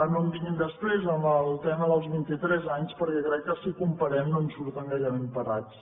no em vinguin després amb el tema dels vint i tres anys perquè crec que si ho comparem no en surten gaire ben parats